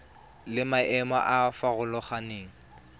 le maemo a a farologaneng